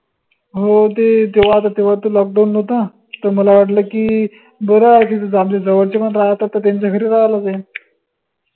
हो ते तेव्हा त तेव्हा त lockdown नव्हता त मला वाटलं की बर आहे तिथं आपले जवळचे पन राहतात त त्यांच्या घरी राहायला जाईन